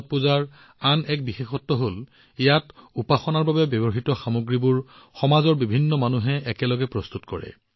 ছট পূজাৰ আন এটা বিশেষ কথা হল উপাসনাৰ বাবে ব্যৱহৃত সামগ্ৰীবোৰ সমাজৰ অসংখ্য মানুহে ঐক্যৱদ্ধভাৱে প্ৰস্তুত কৰে